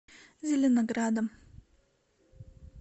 зеленоградом